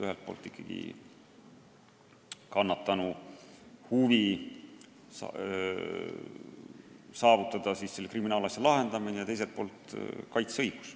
Ühelt poolt on mängus kannatanu huvi saavutada kriminaalasja lahendamine ja teiselt poolt kaitseõigus.